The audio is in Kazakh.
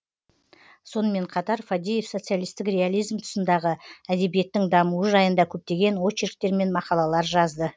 сонымен қатар фадеев социалисттік реализм тұсындағы әдебиеттің дамуы жайында көптеген очерктер мен мақалалар жазды